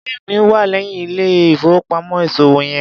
Ilé mi wà léyìn ilé ìfowópamọ́ ìṣòwò yen.